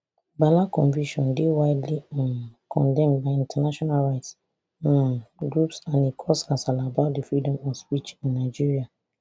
bala conviction dey widely um condemned by international rights um groups and e cause kasala about di freedom of speech in nigeria